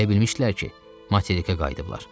Elə bilmişdilər ki, materikə qayıdıblar.